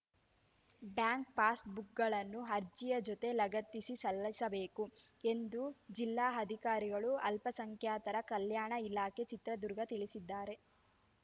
bank passbook ಗಳನ್ನು ಅರ್ಜಿಯ ಜೊತೆ ಲಗತ್ತಿಸಿ ಸಲ್ಲಿಸಬೇಕು ಎಂದು ಜಿಲ್ಲಾ ಅಧಿಕಾರಿಗಳು ಅಲ್ಪಸಂಖ್ಯಾತರ ಕಲ್ಯಾಣ ಇಲಾಖೆ ಚಿತ್ರದುರ್ಗ ತಿಳಿಸಿದ್ದಾರೆ